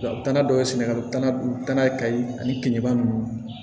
U tana dɔ ye sɛnɛgali taaan kayi ani keningeba ninnu